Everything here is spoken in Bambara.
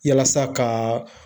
Yalasa ka